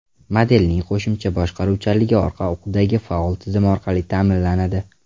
Modelning qo‘shimcha boshqaruvchanligi orqa o‘qdagi faol tizim orqali ta’minlanadi.